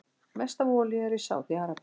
Mest af olíu er í Sádi-Arabíu.